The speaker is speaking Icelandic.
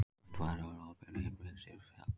Myndbandið er á opinberri heimasíðu félagsins.